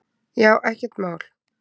Já, ekkert mál!